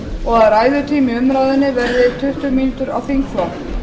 og að ræðutími í umræðunni verði tuttugu mínútur á þingflokk